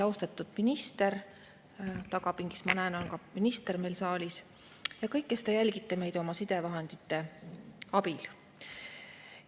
Austatud minister – ma näen, et ka minister on meil saalis, tagapingis – ja kõik, kes te jälgite meid oma sidevahendite abil!